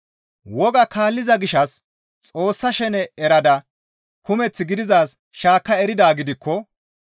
Wogaa kaalliza gishshas Xoossa shene erada kumeth gidizaaz shaakka eridaa gidikko,